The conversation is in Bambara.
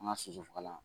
An ka soso fagala